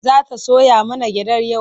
Za ta soya mana gyaɗar yau?